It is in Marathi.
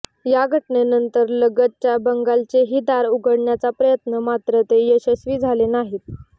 या घटनेनंतर लगतच्या बंगल्याचेही दार उघडण्याचा प्रयत्न मात्र ते यशस्वी झाले नाहीत